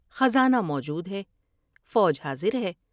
خزانہ موجود ہے ، فوج حاضر ہے ۔